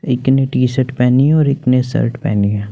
एक ने टी-शर्ट पहनी और एक ने शर्ट पहनी है।